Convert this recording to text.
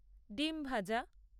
ডিম্ ভাজা